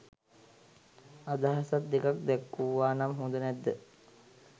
අදහසක් දෙකක් දැක්වුවා නම් හොද නැද්ද?